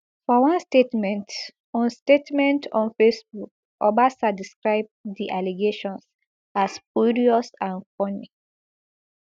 for one statement on statement on facebook obasa describe di allegations as spurious and funny